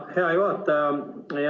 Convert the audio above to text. Hea juhataja!